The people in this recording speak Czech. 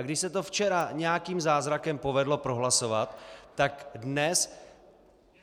A když se to včera nějakým zázrakem povedlo prohlasovat, tak dnes